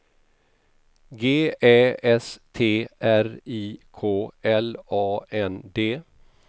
G Ä S T R I K L A N D